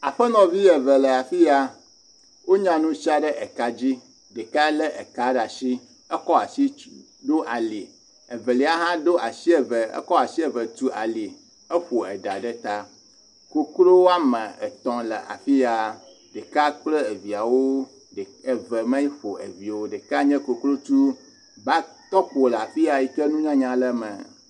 Aƒenɔvi eve le afi ya, wonya nu sia ɖe eka dzi, ɖeka lé eka ɖe asi ekɔ asi tu ɖe ali, evelia hã ɖo asi tu, eƒo eɖa ɖe ta, koklo woame etɔ̃ le afi ya, ɖeka kple viawo, eve meƒo evi o, ɖeka nye koklotsu va tɔ ko le afi ya yike nunyanya le eme.